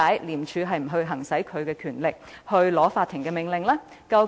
廉署何以未有行使其權力，向法庭申請命令？